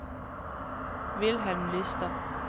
Wilhelm Lystad